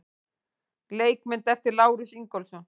Leikmynd eftir Lárus Ingólfsson.